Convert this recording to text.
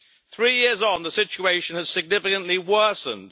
Three years on, the situation has significantly worsened.